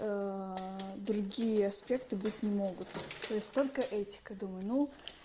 другие аспекты быть не могут то есть только этика думаю ну